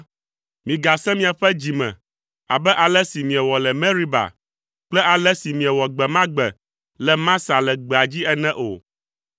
migasẽ miaƒe dzi me abe ale si miewɔ le Meriba kple ale si miewɔ gbe ma gbe le Masa le gbea dzi ene o.